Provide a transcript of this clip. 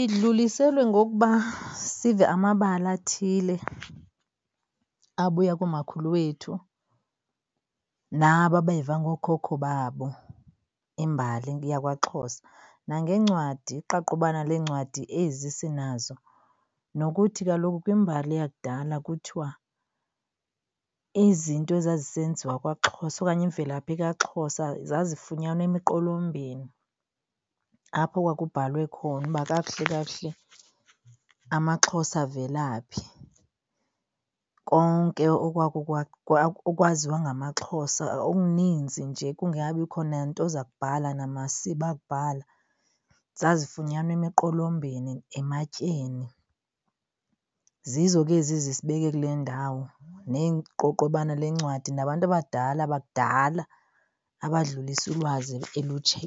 Idluliselwe ngokuba sive amabali athile abuya koomakhulu wethu nabo abeva ngookhokho babo, imbali yakwaXhosa. Nangeencwadi, iqaqobana leencwadi ezi sinazo. Nokuthi kaloku kwimbali yakudala kuthiwa izinto ezazisenziwa kwaXhosa okanye imvelaphi kaXhosa zazifunyanwa emiqolombeni apho kwakubhalwe khona uba kakuhle kakuhle amaXhosa avela phi. Konke okwaziwa ngamaXhosa, okuninzi nje kungakabikho nento zakubhala namasiba akubhala zazifunyanwa emiqolombeni ematyeni. Zizo ke ezi zisibeke kule ndawo, neeqobobana lencwadi nabantu abadala bakudala abadlulisa ulwazi